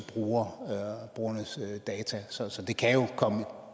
brugernes data så det kan jo komme